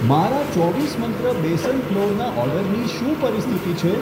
મારા ચોવીસ મંત્ર બેસન ફ્લોરના ઓર્ડરની શું પરિસ્થિતિ છે?